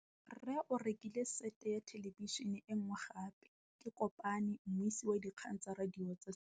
Rre o rekile sete ya thêlêbišênê e nngwe gape. Ke kopane mmuisi w dikgang tsa radio tsa Setswana.